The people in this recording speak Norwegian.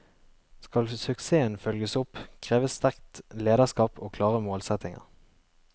Skal suksessen følges opp, kreves sterkt lederskap og klare målsetninger.